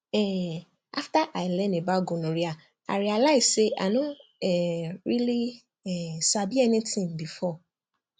um after i learn about gonorrhea i realize say i no um really um sabi anything before